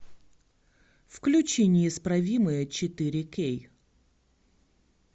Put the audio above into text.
включи неисправимые четыре кей